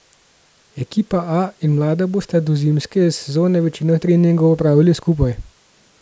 Ekipa A in mlada bosta do zimske sezone večino treningov opravili skupaj.